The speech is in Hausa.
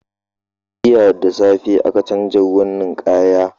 Jiya da safe aka canza ruwan ninkaya.